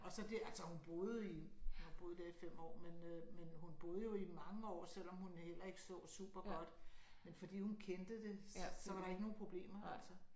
Og så det altså hun boede i hun har boet der i 5 år men øh men hun boede jo i mange år selvom hun heller ikke så super godt men fordi hun kendte det så var der ikke nogen problemer altså